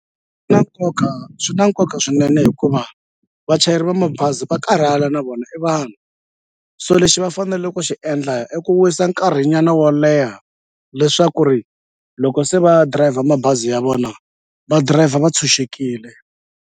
Na nkoka swi na nkoka swinene hikuva vachayeri va mabazi va karhala na vona i vanhu so lexi va fanele ku xi endla i ku wisa nkarhi nyana wo leha leswaku ri loko se va dirayivha mabazi ya vona va dirayivha va tshunxekile.